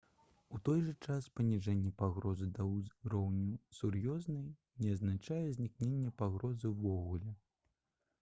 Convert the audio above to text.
«у той жа час паніжэнне пагрозы да ўзроўню сур'ёзнай не азначае знікнення пагрозы ўвогуле»